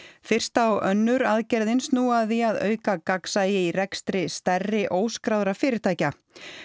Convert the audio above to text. fyrsta og önnur aðgerðin snúa að því að auka gagnsæi í rekstri stærri óskráðra fyrirtækja